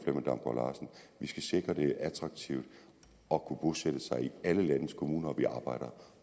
vi skal sikre at det er attraktivt at kunne bosætte sig i alle landets kommuner og vi arbejder